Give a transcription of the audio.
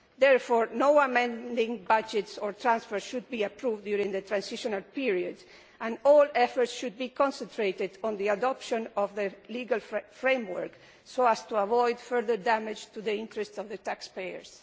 Therefore, no amending budgets or transfers should be approved during the transitional period and all efforts should be concentrated on the adoption of the legal framework so as to avoid further damage to the interests of taxpayers.